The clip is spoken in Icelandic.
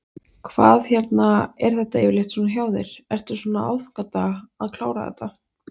Hvað hérna, er þetta yfirleitt svona hjá þér, ertu svona á aðfangadag að klára þetta?